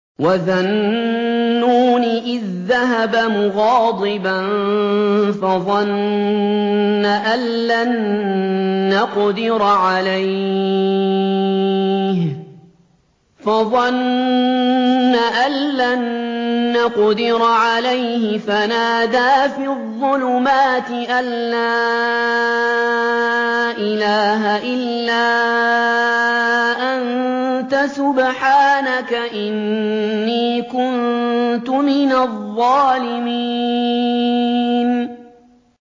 وَذَا النُّونِ إِذ ذَّهَبَ مُغَاضِبًا فَظَنَّ أَن لَّن نَّقْدِرَ عَلَيْهِ فَنَادَىٰ فِي الظُّلُمَاتِ أَن لَّا إِلَٰهَ إِلَّا أَنتَ سُبْحَانَكَ إِنِّي كُنتُ مِنَ الظَّالِمِينَ